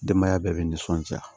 Denbaya bɛɛ bɛ nisɔnja